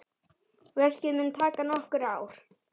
Verkið mun taka nokkur ár.